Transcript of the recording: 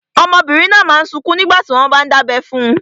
Ọmọbìnrin náà n sọkún nígbàtí wọ́n n dábẹ́ fun.